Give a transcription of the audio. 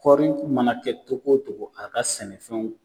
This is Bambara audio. Kɔri mana kɛ togo togo a ka sɛnɛfɛnw